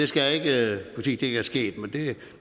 skal ikke kunne sige det er sket det er